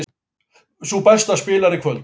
Sú besta spilar í kvöld